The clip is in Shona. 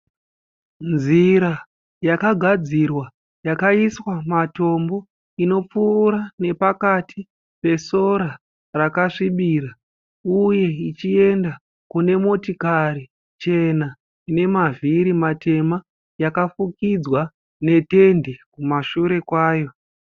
Nzira yakagadzirwa yakaiswa matombo inopfuura nepakati pesora rakasvibira uye ichienda kune motokari chena ine mavhiri matema yakafukidzwa netendi kumashure kwayo.